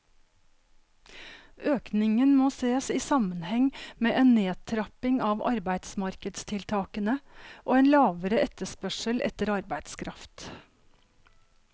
Økningen må ses i sammenheng med en nedtrapping av arbeidsmarkedstiltakene og en lavere etterspørsel etter arbeidskraft.